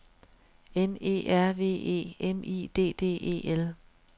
N E R V E M I D D E L